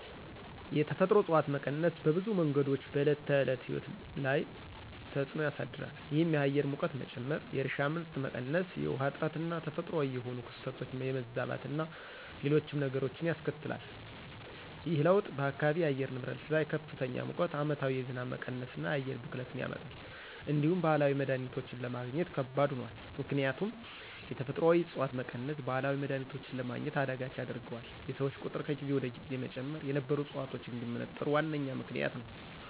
የተፈጥሮ እፅዋት መቀነስ በብዙ መንገዶች በዕለት ተዕለት ሕይወት ላይ ተፅዕኖ ያሳድራል። ይህም የአየር ሙቀት መጨመር፣ የእርሻ ምርት መቀነስ፣ የውሃ እጥረትና ተፈጥሯዊ የሆኑ ክስተቶች የመዛባትና ሌሎችም ነገሮች ያስከትላል። ይህ ለውጥ በአካባቢው የአየር ንብረት ላይ ከፍተኛ ሙቀት፣ ዓመታዊ የዝናብ መቀነስና የአየር ብክለትን ያመጣል። እንዲሁም ባህላዊ መድሀኒቶችን ለማግኘት ከባድ ሆኗል። ምክንያቱም የተፈጥሮአዊ ዕፅዋት መቀነስ ባህላዊ መድሀኒቶችን ለማግኘት አዳጋች ያደርገዋል፤ የሰዎች ቁጥር ከጊዜ ወደ ጊዜ መጨመር የነበሩ ዕፅዋቶች እንዲመነጠሩ ዋነኛ ምክንያት ነዉ።